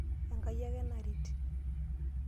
Enkai ake naret.